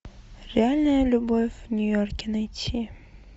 реальная любовь в нью йорке найти